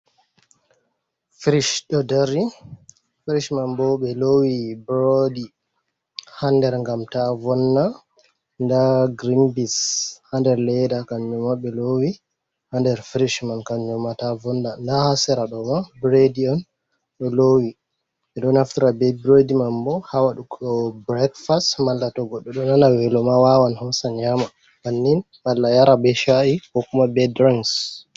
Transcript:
Frish ɗo dari, frish man bo ɓe lowi broodi ha nder gam ta vonna nda grinbis ha nder ledda kannuma ɓe lowi ha nder frish man kannuma ta vonna nda ha sera ɗoma bred on ɗo lowi, ɓedo naftara be brid man bo ha waɗugo breakfast malla Togoɗɗo ɗo nana weloma wawan hosa nyama bannin malla yara be sha’i ko kuma be drangs.